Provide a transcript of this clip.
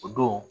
O don